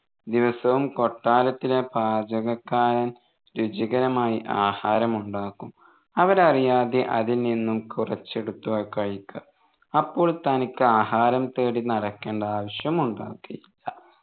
ദിവസവും കൊട്ടാരത്തിലെ പാചകക്കാരൻ രുചികരമായി ആഹാരം ഉണ്ടാക്കും അവരറിയാതെ അതിൽ നിന്നും കുറച്ചെടുത്ത് കഴിക്കാം അപ്പോൾ തനിക്ക് ആഹാരം തേടി നടക്കേണ്ട ആവശ്യം ഉണ്ടാകില്ല